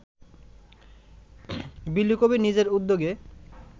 বিলু কবীর নিজের উদ্যোগে